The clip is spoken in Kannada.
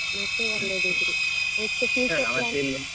ಮತ್ತೆ ಅಲ್ಲೇ degree, next future plan .